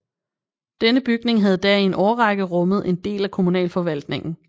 Denne bygning havde da i en årrække rummet en del af kommunalforvaltningen